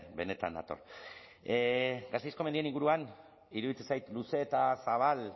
benetan nator gasteizko mendien inguruan iruditzen zait luze eta zabal